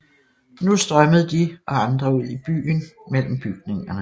Nu strømmede de og andre i byen ud mellem bygningerne